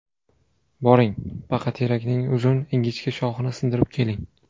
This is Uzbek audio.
Boring, baqaterakning uzun, ingichka shoxini sindirib keling.